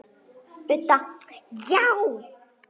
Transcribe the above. Budda: Já.